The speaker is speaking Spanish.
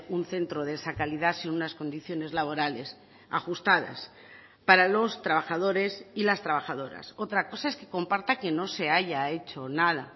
un centro de esa calidad sin unas condiciones laborales ajustadas para los trabajadores y las trabajadoras otra cosa es que comparta que no se haya hecho nada